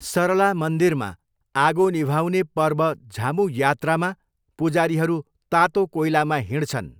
सरला मन्दिरमा, आगो निभाउने पर्व झामू यात्रामा, पुजारीहरू तातो कोइलामा हिँड्छन्।